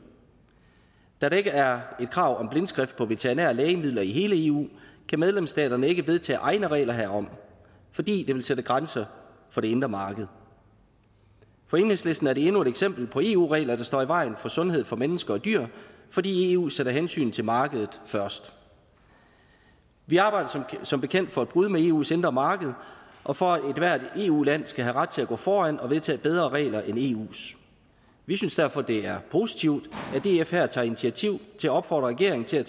da der ikke er et krav om blindskrift på veterinære lægemidler i hele eu kan medlemsstaterne ikke vedtage egne regler herom fordi det vil sætte grænser for det indre marked for enhedslisten er det endnu et eksempel på eu regler der står i vejen for sundhed for mennesker og dyr fordi eu sætter hensynet til markedet først vi arbejder som bekendt for et brud med eus indre marked og for at ethvert eu land skal have ret til at gå foran og vedtage bedre regler end eus vi synes derfor at det er positivt at df her tager initiativ til at opfordre regeringen til at